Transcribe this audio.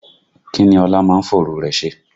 Kí ni Ọlá máa ń fòru rẹ̀ ṣe?